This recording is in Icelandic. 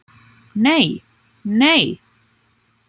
Nei, nei!